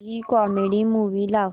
कोणतीही comedy movie लाव